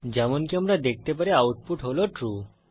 যেমনকি আমরা দেখতে পারি আউটপুট হল ট্রু